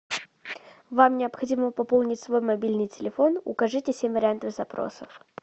вам необходимо пополнить свой мобильный телефон укажите семь вариантов запросов